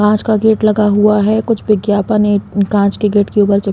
काँच का गेट लगा हुआ है कुछ विज्ञापन है काँच के गेट के ऊपर चिप --